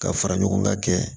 Ka fara ɲɔgɔn ga kɛ